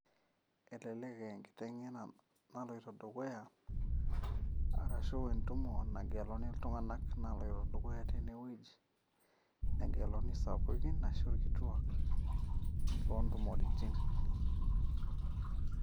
Elelek aaa enkitengena naloito dukuya, arashu entumo nangeluni iltunganak naloito dukutya tineweuji negeluni isapukin ashu ilkituak lontumoritiin.